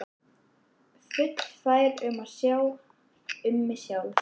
Fullfær um að sjá um mig sjálf.